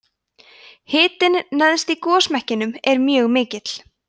hitinn neðst í gosmekkinum er mjög mikill